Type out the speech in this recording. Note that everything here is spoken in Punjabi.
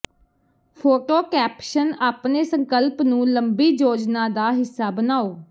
ਫੋਟੋ ਕੈਪਸ਼ਨ ਆਪਣੇ ਸੰਕਲਪ ਨੂੰ ਲੰਬੀ ਯੋਜਨਾ ਦਾ ਹਿੱਸਾ ਬਣਾਓ